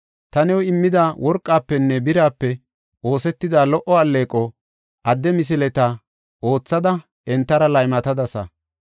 Ta new immida worqafenne birape oosetida lo77o alleeqo, adde misileta oothada entara laymatadasa.